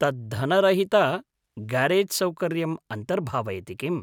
तत् धनरहितगारेज्सौकर्यम् अन्तर्भावयति किम्?